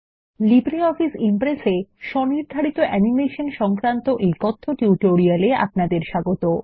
LibreOffice Impress -এ custom animation বা স্বনির্ধারিত অ্যানিমেশন সংক্রান্ত কথ্য টিউটোরিয়াল এ আপনাদের স্বাগত